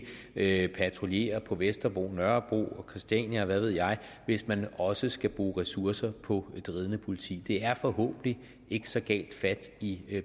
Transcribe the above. ikke patruljere på vesterbro nørrebro og christiania og hvad ved jeg hvis man også skal bruge ressourcer på et ridende politi det er forhåbentlig ikke så galt fat i